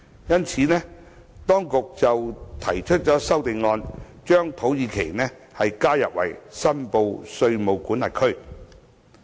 因此，當局提出了一項全體委員會審議階段修正案，把土耳其加入為申報稅務管轄區。